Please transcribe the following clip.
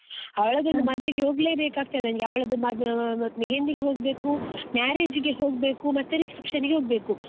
ಅವಳದೊಂದು ಮದ್ವೆಗೆ ಹೋಗ್ಲೆ ಬೇಕಾಗ್ತಾದೆ ನಂಗೆ, ಅವಳದು ಮದ್ವೆ ಅಹ್ mehendi ಗೆ ಹೋಗ್ಬೇಕು marriage ಗೆ ಹೋಗ್ಬೇಕು ಮತ್ತೆ reception ನಿಗೆ ಹೋಗ್ಬೇಕು.